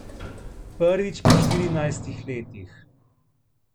Prvič po štirinajstih letih.